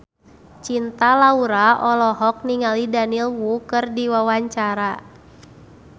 Cinta Laura olohok ningali Daniel Wu keur diwawancara